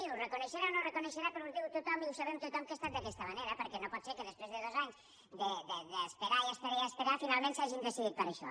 ho reconeixerà o no ho reconeixerà però ho diu tothom i ho sabem tothom que ha estat d’aquesta manera perquè no pot ser que després de dos anys d’esperar esperar i esperar finalment s’hagin decidit per això